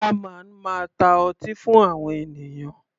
Bar man máa ta ọtí fún àwọn ènìyàn.